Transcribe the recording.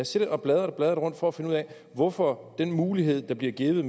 siddet og bladret og bladret rundt for at finde ud af hvorfor den mulighed der bliver givet